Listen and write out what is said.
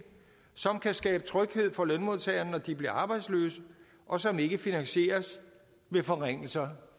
som kan skabe tryghed for lønmodtagerne når de bliver arbejdsløse og som ikke finansieres ved forringelser